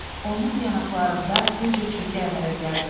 Onun yanaqlarında bir cüt çökək əmələ gəldi.